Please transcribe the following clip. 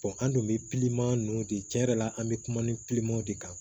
an dun bɛ ninnu de tiɲɛ yɛrɛ la an bɛ kuma ni de kan